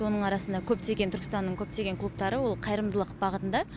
оның арасында көптеген түркістанның көптеген клубтары ол қайырымдылық бағытында